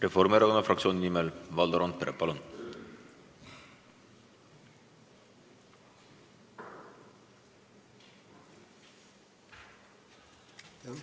Reformierakonna fraktsiooni nimel Valdo Randpere, palun!